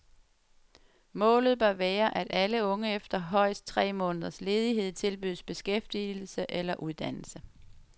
Målet bør være, at alle unge efter højst tre måneders ledighed tilbydes beskæftigelse eller uddannelse.